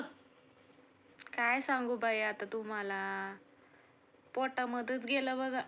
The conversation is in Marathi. काय सांगू बाई आता तुम्हाला, पोटामध्येच गेलं बघा.